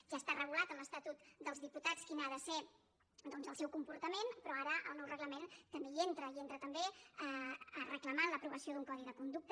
ja està regulat en l’estatut dels diputats quin ha de ser doncs el seu comportament però ara el nou reglament també hi entra i entra també a reclamar l’aprovació d’un codi de conducta